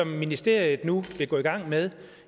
ministeriet nu vil gå i gang med